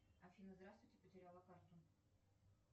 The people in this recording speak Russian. афина здравствуйте потеряла карту